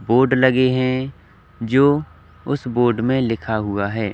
Board लगे है जो उस बोर्ड मे लिखा हुआ है।